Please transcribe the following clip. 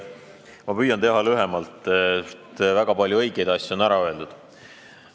Ma püüan teha lühidalt, väga palju õigeid asju on ära öeldud.